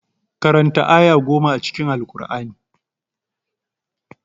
Karanta aya goma a cikin Alkur'ani.